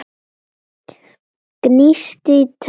Gnísti tönnum.